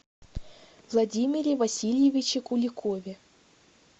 владимире васильевиче куликове